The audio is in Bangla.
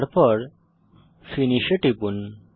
তারপর ফিনিশ এ টিপুন